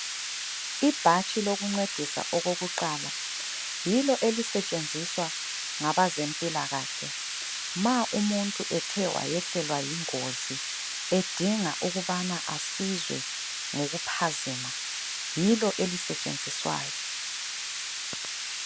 Ibhatshi elokuncedisa okokuqala. Yilo elisetshenziswa ngabezempilakahle ma umuntu ethe wayehlelwa yingozi edinga ukubana asizwe ngokuphazima, yilo elisetshenziswayo.